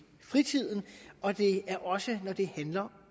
fritiden og det gælder også når det handler